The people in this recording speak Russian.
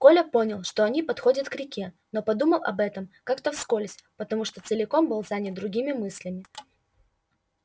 коля понял что они подходят к реке но подумал об этом как то вскользь потому что целиком был занят другими мыслями